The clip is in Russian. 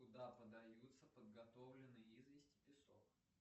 куда подаются подготовленные известь и песок